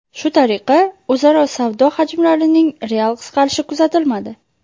Shu tariqa, o‘zaro savdo hajmlarining real qisqarishi kuzatilmadi.